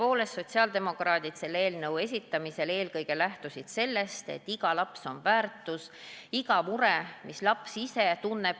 Tõepoolest, sotsiaaldemokraadid lähtusid selle eelnõu esitamisel eelkõige sellest, et iga laps on väärtuslik, iga mure, mida laps ise tunneb, on oluline.